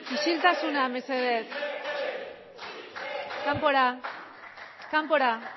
isiltasuna mesedez kanpora kanpora